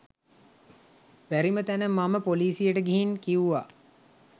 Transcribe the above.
බැරිම තැන මම පොලිසියට ගිහින් කිව්වා